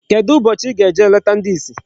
Kedụ ụbọchị ị ga-eje leta ndi isi?